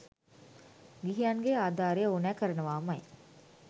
ගිහියන්ගේ ආධාරය ඕනැ කරනවාමයි.